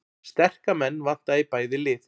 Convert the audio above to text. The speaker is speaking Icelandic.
Sterka menn vantaði í bæði lið